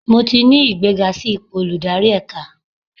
Mo ti ní ìgbéga sí ipò olùdarí ẹ̀ka.